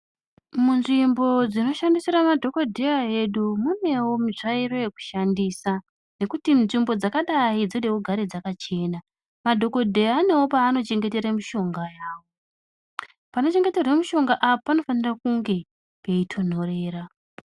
Mu nzvimbo dzino shandisira madhokodheya edu munewo mitsvairo yeku shandisa nekuti nzvimbo dzakadai dzode kugare dzakachena madhokodheya anewo paano chengetera mushonga yavo pano chengeterwa mushonga apa panofane kunge pei tonhorera.